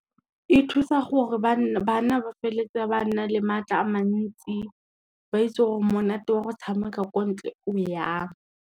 E thusa gore bana ba feletse ba na le maatla a mantsi, ba itse gore monate wa go tshameka ko ntle o jang.